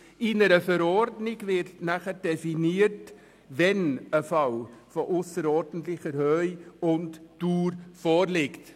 In einer Verordnung wird dann definiert, wann ein Fall von ausserordentlicher Höhe und Dauer vorliegt.